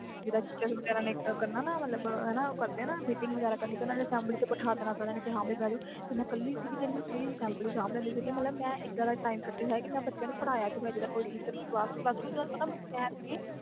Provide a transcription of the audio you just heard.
ਜਿੰਦਾ teacher ਵਗੈਰਾ meeting ਕਰਦੇ ਹੁੰਦੇ ਸੀ ਤੇ ਮੈਂ ਇੱਕਲੀ assembly ਸਾਬ ਦੀ ਹੁੰਦੀ ਸੀ ਮੈਂ ਇਹਦਾ ਦਾ ਵੀ ਕੱਢਿਆ ਹੋਇਆ ਕਿ ਮਈ ਬੱਚਿਆਂ ਨੂੰ ਪੜ੍ਹਾਇਆ ਹੋਇਆ